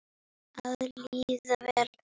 Að líða vel.